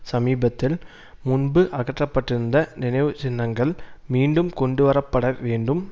சமீபத்தில் முன்பு அகற்றப்பட்டிருந்த நினைவு சின்னங்கள் மீண்டும் கொண்டுவரப்படவேண்டும்